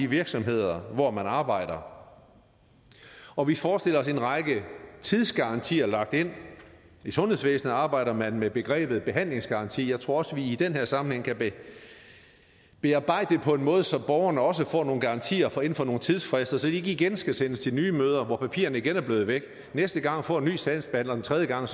virksomhed hvor man arbejder og vi forestiller os en række tidsgarantier lagt ind i sundhedsvæsenet arbejder man med begrebet behandlingsgaranti jeg tror også at vi i den her sammenhæng kan bearbejde det på en måde så borgerne også får nogle garantier for inden for nogle tidsfrister så de ikke igen skal sendes til nye møder hvor papirerne igen er blevet væk og næste gang får de en ny sagsbehandler og tredje gang